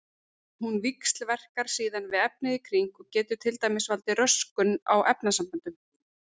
Hún víxlverkar síðan við efnið í kring og getur til dæmis valdið röskun á efnasamböndum.